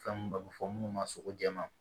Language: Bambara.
Fɛn mun bɛ fɔ minnu ma sogo jɛma